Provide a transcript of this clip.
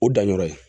O danyɔrɔ ye